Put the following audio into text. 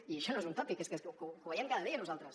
i això no és un tòpic és que ho veiem cada dia nosaltres